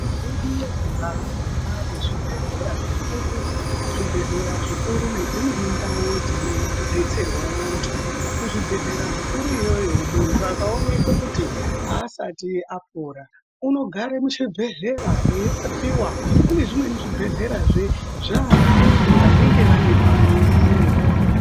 Yedu yezimbabwe yaane zvibhedhlera zvikuru zvibhedhlera zvikuru Nedzimweni ndau dzinodetserwa antu kuzvibhedhlera zvikuru iyoyo muntu akaonekwa kuti aasati apora unogare muchibhedhlera eirapiwa kune zvimwrni zvibhedhlerazve zvaanamai vanenge vane pamwiri.